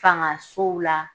Fangasow la